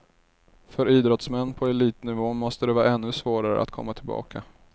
För idrottsmän på elitnivå måste det vara ännu svårare att komma tillbaka.